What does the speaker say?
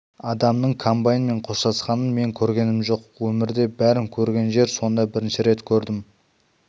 адамның комбайнмен қоштасқанын мен көргенім жоқ өмірде бәрін көрген жер сонда бірінші рет көрдім